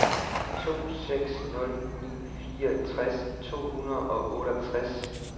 to seks nul ni fireogtres to hundrede og otteogtres